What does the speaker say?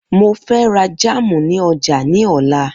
Mo fẹ ra jámù ní ọjà ní ọ̀la.